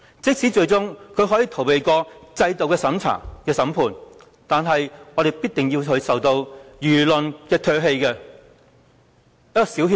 即使他最終可以逃過制度的審判，但我們亦必定要他受到輿論的唾棄。